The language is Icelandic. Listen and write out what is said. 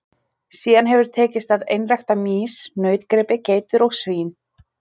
Síðan hefur tekist að einrækta mýs, nautgripi, geitur og svín.